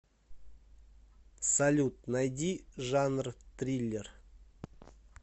салют найди жанр триллер